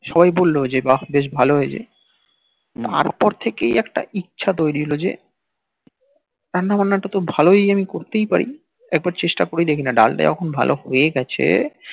সবাই বলল যে বাহ বেশ ভাল হয়েছে তারপর থেকে একটা ইচ্ছা তৈরি হল যে রান্না বান্না তা ট ভালই আমি করতেই পারি একবার চেষ্টা করে দেখি না ডাল তা যখন ভাল হয়ে গিয়েছে